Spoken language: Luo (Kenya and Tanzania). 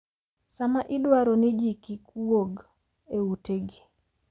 sama idwaro ni ji kik wuog e utegi